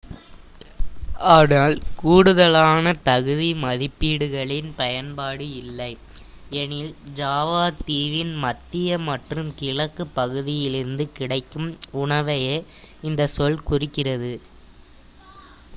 ஆனால் கூடுதலான தகுதி மதிப்பீடுகளின் பயன்பாடு இல்லை எனில் ஜாவாத்தீவின் மத்திய மற்றும் கிழக்கு பகுதியிலிருந்து கிடைக்கும் உணவையே இந்த சொல் குறிக்கிறது